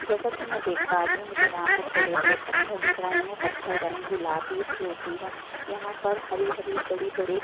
जैसा कि मैं देख पा रही हूं मुझे यहाँ पर बड़े-बड़े पत्थर दिख रहै हैं पत्थर का रंग गुलाबी स्लेटी है यहाँ पर हरी -हरी बड़ी-बड़ी--